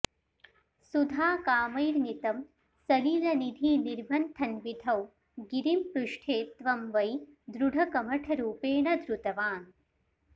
सुधाकामैर्नीतं सलिलनिधिनिर्मन्थनविधौ गिरिं पृष्ठे त्वं वै दृढकमठरूपेण धृतवान्